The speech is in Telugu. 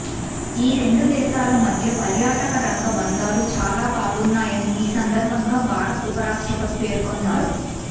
ఈ రెండు దేశాల మధ్య పర్యాటక రంగ బంధాలు చాలాబాగున్నాయని ఈ సందర్భంగా భారత ఉపరాష్టప్రతి పేర్కొన్నారు